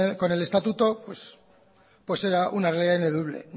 con el estatuto era una